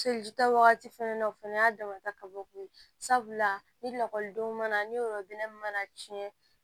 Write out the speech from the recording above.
Selita wagati fɛnɛ na o fɛnɛ y'a damata kabako ye sabula ni lakɔlidenw mana ni yɔrɔ bɛnnen mana tiɲɛ